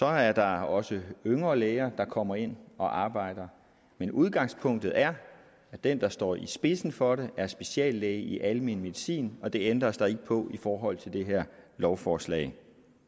at der også er yngre læger der kommer ind og arbejder men udgangspunktet er at den der står i spidsen for det er speciallæge i almen medicin og det ændres der ikke på i forhold til det her lovforslag